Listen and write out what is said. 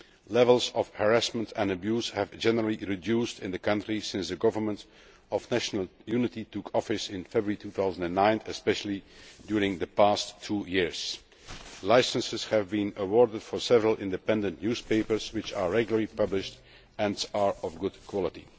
Levels of harassment and abuse have generally been reduced since the Government of National Unity took office in February 2009, especially over the past two years. Licences have been awarded for several independent newspapers which are regularly published and are of good quality.